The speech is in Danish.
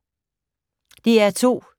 DR2